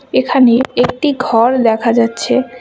এখানে একটি ঘর দেখা যাচ্ছে।